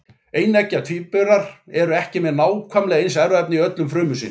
Eineggja tvíburar eru ekki með nákvæmlega eins erfðaefni í öllum frumum sínum.